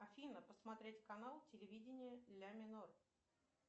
афина посмотреть канал телевидения ля минор